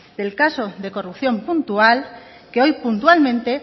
el caso de corrupción puntual que hoy puntualmente